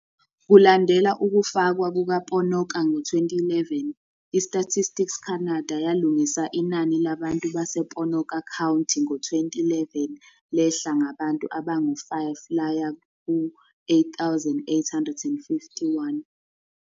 Kulandela ukufakwa kuka-Ponoka ngo-2011, i-Statistics Canada yalungisa inani labantu base-Ponoka County ngo-2011 lehla ngabantu abangu-5 laya ku-8,851.